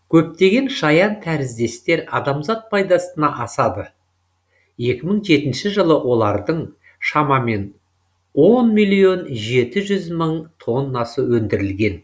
көптеген шаянтәріздестер адамзат пайдасына асады екі мың жетінші жылы олардың шамамен он миллион жеті жүз мың тоннасы өндірілген